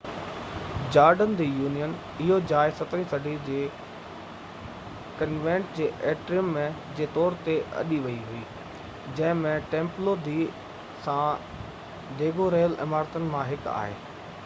Jordan دي يونين اهو جاءِ 17 صدي جي ڪنوينٽ جي ايٽريم جي طور تي اڏي ويئي هئي جنهن ۾ ٽيمپلو دي سان ڊيگو رهيل عمارتن مان هڪ آهي